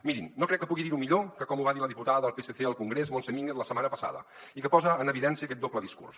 mirin no crec que pugui dir ho millor que com ho va dir la diputada del psc al congrés montse mínguez la setmana passada i que posa en evidència aquest doble discurs